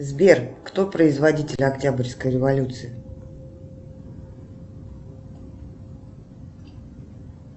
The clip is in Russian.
сбер кто производитель октябрьской революции